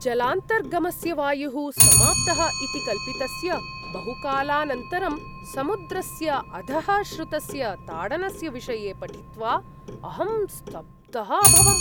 जलान्तर्गमस्य वायुः समाप्तः इति कल्पितस्य बहुकालानन्तरं समुद्रस्य अधः श्रुतस्य ताडनस्य विषये पठित्वा अहं स्तब्धः अभवम्।